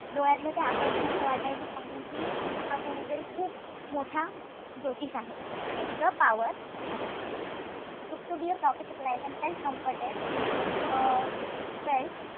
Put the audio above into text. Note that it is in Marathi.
डोळ्यातलं ते आकर्षण असं वाटायचं पाहून की हा कोणी तरी खूप मोठा ज्योतिष आहे. The power took to be a prophetic light and felt comforted um felt,